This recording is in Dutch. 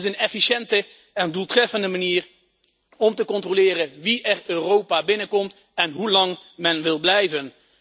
Het is een efficiënte en doeltreffende manier om te controleren wie echt Europa binnenkomt en hoe lang men wil blijven.